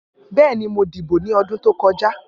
Bẹẹni, Mo dibo ni ọdun to kọja.